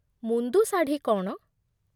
ମୁନ୍ଦୁ ଶାଢ଼ୀ କ'ଣ?